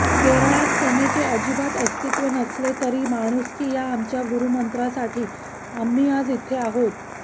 केरळात सेनेचे अजिबात अस्तित्व नसले तरी माणुसकी ह्या आमच्या गुरुमंत्रासाठी आम्ही आज इथे आहोत